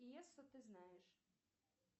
пьесу ты знаешь